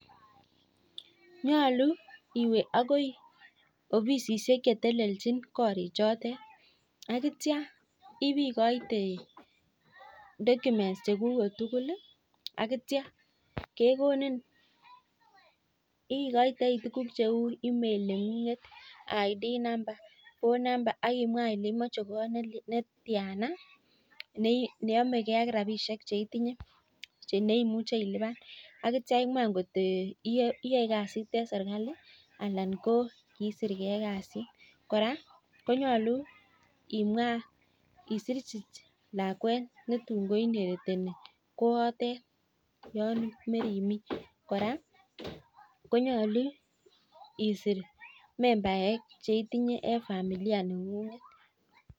Nyalu iweakoi obisisiek chetelelchin korik chotet, akitia ibikoite documents chekuket tukul ih akitiakekonin ikoite email, identity document neng'ung'et ak phone number akimwa Ile imoche kot netiana neamege ak rabisiek cheitinye ak itia imwa angot iyae kasit en sirkali Anan ko kisire kasit anan koimwa konyalu imwa lakuet nerube ko inherit koano Yoon meimi, kora konyalu isir members cheitinye en familia neng'ung'et